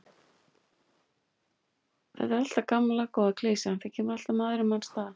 Þetta er alltaf gamla góða klisjan, það kemur alltaf maður í manns stað.